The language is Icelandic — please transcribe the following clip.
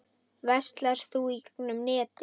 Verslar þú í gegnum netið?